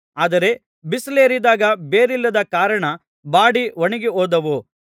ಆದರೆ ಬಿಸಿಲೇರಿದಾಗ ಬೇರಿಲ್ಲದ ಕಾರಣ ಬಾಡಿ ಒಣಗಿಹೋದವು